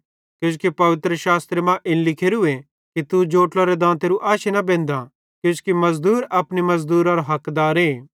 किजोकि पवित्रशास्त्र मां इन लिखोरूए कि तू जोट्लोरे दांतेरू आशी न बेन्धाँ किजोकि मज़दूर अपने मज़दूरारो हकदारे